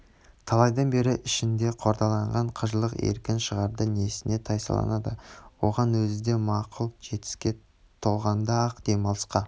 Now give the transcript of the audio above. талайдан бері ішінде қордаланған қыжылын еркін шығарды несіне тайсалады оған өзі де мақұл жетпіске толғанда-ақ демалысқа